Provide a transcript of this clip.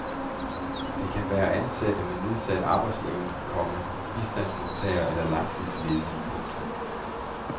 Det kan være ansatte med nedsat arbejdsevne, komma bistandsmodtagere eller langtidsledige. punktum